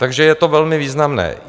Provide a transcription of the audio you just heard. Takže je to velmi významné.